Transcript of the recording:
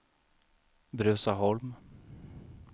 Bruzaholm